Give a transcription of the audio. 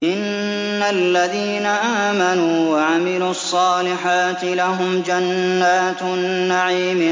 إِنَّ الَّذِينَ آمَنُوا وَعَمِلُوا الصَّالِحَاتِ لَهُمْ جَنَّاتُ النَّعِيمِ